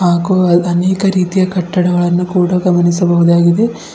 ಹಾಗೂ ಅಲ್ ಅನೇಕ ರೀತಿಯ ಕಟ್ಟಡಗಳನ್ನು ಕೂಡ ಗಮನಿಸಬಹುದಾಗಿದೆ.